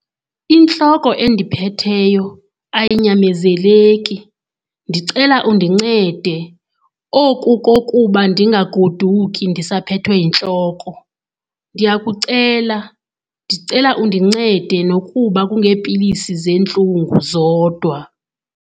Intloko endiphetheyo ayinyamezeleki, ndicela undincede oku kokuba ndingagoduki ndisaphethwe yintloko. Ndiyakucela ndicela undincede nokuba kungeepilisi zentlungu zodwa.